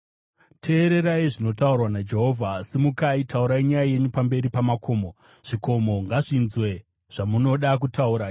Teererai zvinotaurwa naJehovha: “Simukai, taurai nyaya yenyu pamberi pamakomo; zvikomo ngazvinzwe zvamunoda kutaura.